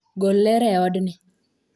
Gol ler e odni